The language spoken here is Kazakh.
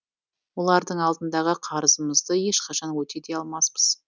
олардың алдындағы қарызымызды ешқашан өтей де алмаспыз